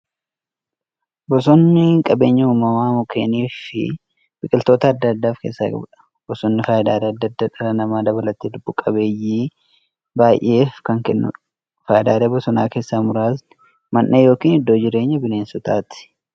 Bosonni qabeenya uumamaa mukkeewwaniifi biqiltoota adda addaa of keessaa qabudha. Bosonni faayidaalee adda addaa dhala namaa dabalatee lubbuu qabeeyyii baay'eef kan kennuudha. Faayidaalee bosonaa keessaa muraasni; Mandhee yookin iddoo jireenya bineensotaati.